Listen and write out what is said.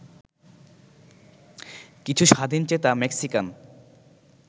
কিছু স্বাধীনচেতা মেক্সিকান